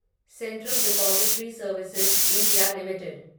central depository services India limited